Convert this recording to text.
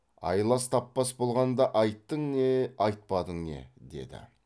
айлас таппас болғанда айттың не айтпадың не деді